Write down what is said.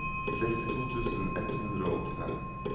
sekstito tusen ett hundre og åttifem